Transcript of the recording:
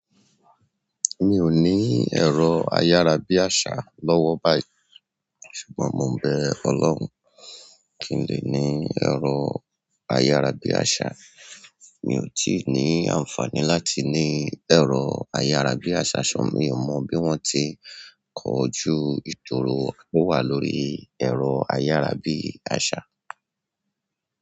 Mi ò ní ẹ̀rọ ayárabíàṣá lọ́wọ́ báyìí ṣùgbọ́n mo bé Ọlọ́run kì í lè ní ẹ̀rọ ayárabíàṣá. Mi ò tí ì ní àǹfààní láti ní ẹ̀rọ ayárabíàṣá ṣọ̀ mọ́. Mi ò mọ bí wọ́n ti ń kọjú ìdúró ìhùwà lórí ẹ̀rọ ayárabíàṣá.